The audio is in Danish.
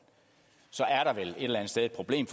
så er der vel et eller andet sted et problem